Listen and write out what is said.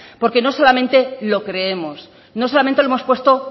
porque no solamente lo creemos no solamente hemos puesto